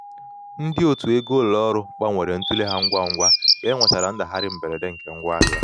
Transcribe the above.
ndị otu ego ụlọ um ọrụ gbanwere ntule ha ngwa ugwa ka e nwechara ndagharịa mberede nke ngwa ahịa.